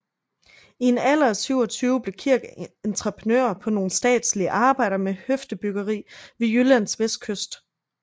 I en alder af 27 blev Kirk entreprenør på nogle statslige arbejder med høfdebyggeri ved Jyllands vestkyst